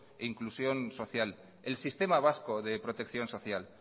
e inclusión social el sistema vasco de protección social